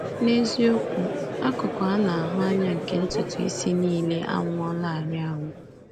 N’eziokwu, akụkụ a na-ahụ anya nke ntutu isi niile anwụọlarị anwụ.